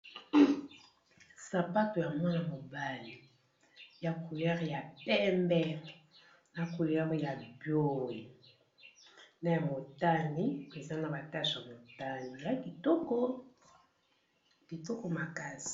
Sapato ya mwana mobali ya couleure ya pembe na couleure ya boy na ya motani, peza na batache ya motani ya kitoko makasi.